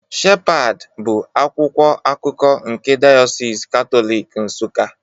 Shepad bụ akwụkwọ akụkọ nke Dayọsis Katọlik Nsuka